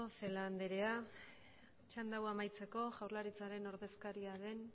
celaá anderea txanda hau amaitzeko jaurlaritzaren ordezkaria den